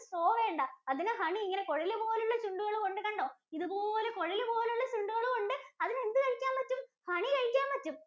straw വേണ്ട. അതിന് honey ഇങ്ങനെ കുഴലുപോലുള്ള ചൂണ്ടുകളും ഒണ്ട്. കണ്ടോ? ഇതുപോലെ കുഴലുപോലുള്ള ചൂണ്ടുകളും ഒണ്ട്. അതിന് എന്തു കഴിക്കാന്‍ പറ്റും? Honey കഴിക്കാന്‍ പറ്റും.